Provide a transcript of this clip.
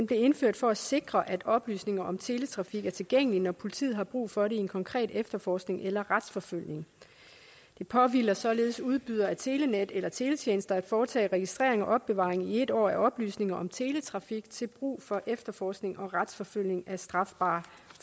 blev indført for at sikre at oplysninger om teletrafik er tilgængelige når politiet har brug for det i en konkret efterforskning eller retsforfølgelse det påhviler således udbydere af telenet eller teletjenester at foretage registrering og opbevaring i en år af oplysninger om teletrafik til brug for efterforskning og retsforfølgelse af strafbare